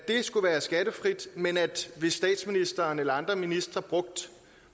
skulle være skattefrit men hvis statsministeren eller andre ministre brugte